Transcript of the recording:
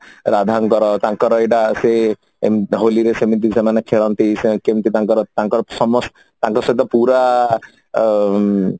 ରାଧାଙ୍କର ତାଙ୍କର ଏଇଟା ସେ ସେମାନେ ହୋଲି ରେ ସେମିତି ସେମାନେ ଖେଳନ୍ତି ସେମାନେ କେମିତି ତାଙ୍କର ସମସ୍ତ ତାଙ୍କର ସହିତ ପୁରା ଅ ଊମ